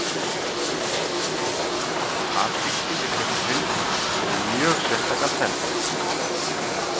afríski villihundurinn hefur mjög sérstakan feld